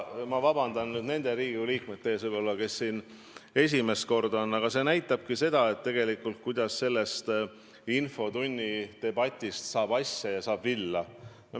Ma vabandan nüüd nende Riigikogu liikmete ees, kes siin esimest koosseisu on, aga see küsimus näitab tegelikult, kuidas mõnikord infotunni debatis asjast asja saab.